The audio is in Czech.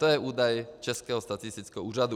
To je údaj Českého statistického úřadu.